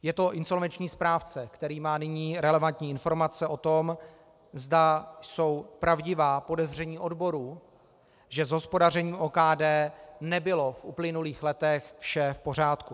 Je to insolvenční správce, který má nyní relevantní informace o tom, zda jsou pravdivá podezření odborů, že s hospodařením OKD nebylo v uplynulých letech vše v pořádku.